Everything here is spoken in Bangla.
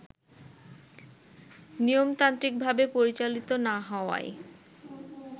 নিয়মতান্ত্রিকভাবে পরিচালিত না হওয়ায়